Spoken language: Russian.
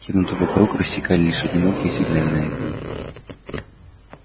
темноту вокруг рассекали лишь одинокие сигнальные огни